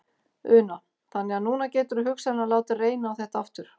Una: Þannig að núna geturðu hugsanlega látið reyna á þetta aftur?